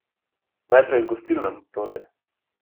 Najprej h gostilnam, torej.